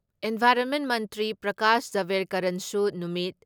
environment ꯃꯟꯇ꯭ꯔꯤ ꯄ꯭ꯔꯀꯥꯁ ꯖꯥꯕꯦꯔꯀꯔꯟꯁꯨ ꯅꯨꯃꯤꯠ